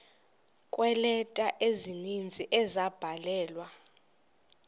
kweeleta ezininzi ezabhalelwa